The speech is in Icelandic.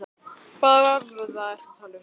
Hvaða vöðva ertu að tala um?